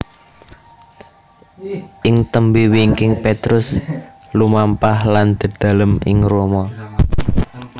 Ing tembé wingking Petrus lumampah lan dedalem ing Roma